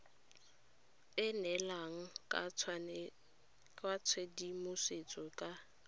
e neelana ka tshedimosetso ka